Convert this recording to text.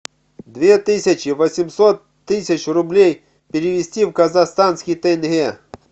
две тысячи восемьсот тысяч рублей перевести в казахстанский тенге